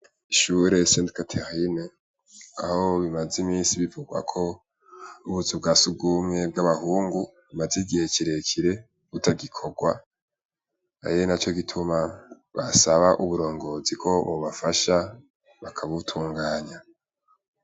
Ishure senti katerine aho bimaze imisi bivugwako ubuzu bwa sugumye bw'abahungu, maze igihe kirekire butagikorwa arinaco gituma basaba uburongozi ko bobafasha bakabutunganya.